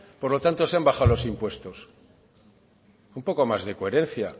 por lo tanto se han bajado los impuestos un poco más de coherencia